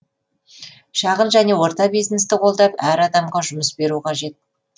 шағын және орта бизнесті қолдап әр адамға жұмыс беру қажет